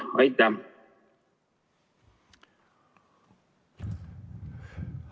Aitäh!